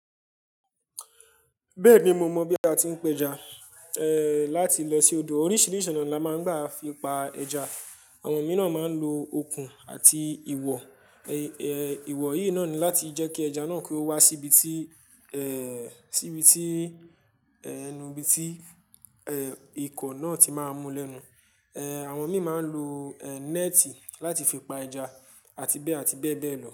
Bẹ́ẹ̀ni mo mọ̀ bí a ti ń p'ẹja, eh láti lọ sí odò oríṣìíríṣìí ònà ni a máa ń gbà fi pa ẹja. Àwọn mìíràn máa ń lo okùn àti ìwọ̀, eh ìwọ̀ yìí náà ni láti jẹ́ kí ẹja náà kí ó wá sí ibi tí, eh sí ibi tí, ẹ́nu ibi tí, eh ikọ̀ náà ti máa ń mú lẹ́nu. Eh àwọn mìíràn máa ń lo eh néètì láti fi pa ẹja àti bẹ́ẹ̀ àti bẹ́ẹ̀ bẹ́ẹ̀ lọ.